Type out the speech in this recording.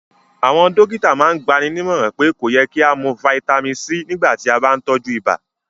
Àwọn dọ̀kìtà màn n gbànímọ̀ràn pé kò yẹ̀ kí a mú fítamì C nígbà tí a bá n tọju ìbà